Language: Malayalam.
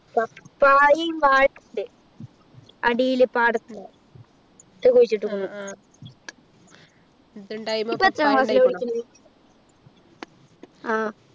papaya മ് വാഴയും ഉണ്ട് അടിയില് പാടത്ത് കുഴിച്ചിട്ടിട്ടുണ്ട് ഇപ്പൊ എത്രാം class ലാ പഠിക്കുന്നത് ആഹ്